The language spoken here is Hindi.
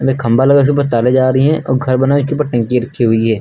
मे खंभा लगा है उपर से तारे जा रही हैं अ घर बना है एखे टंकी रखी हुई है।